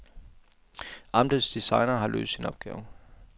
Amtets designer har løst sin opgave.